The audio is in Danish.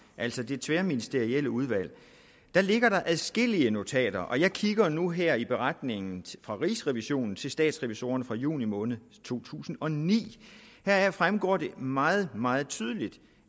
altså i det tværministerielle udvalg der ligger der adskillige notater og jeg kigger nu her i beretningen fra rigsrevisionen til statsrevisorerne fra juni måned to tusind og ni heraf fremgår det meget meget tydeligt